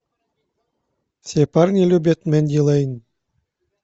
все парни любят мэнди лейн